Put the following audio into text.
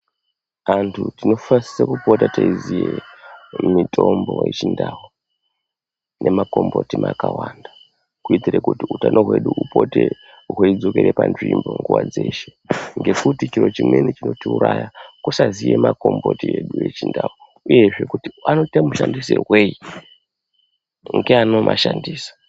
Antu tinosise kupota teiziye mitombo yechiNdau nemakomboti akawanda. Kuitire kuti utano hwedu hupote hweidzokere panzvimbo nguva dzeshe. Ngekuti chiro chimweni chinotiuraya kusaziye makomboti edu echindau uyezve kuti anoita mashandisirweyi ngeanomashandisa.